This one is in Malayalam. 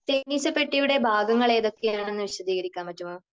തേനീച്ചപ്പെട്ടിയുടെ ഭാഗങ്ങൾ ഏതൊക്കെയാണെന്ന് വിശദീകരിക്കാൻ പറ്റുമോ?